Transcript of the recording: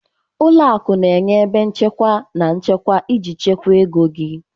Ụlọ akụ na-enye ebe nchekwa na nchekwa iji chekwaa ego gị.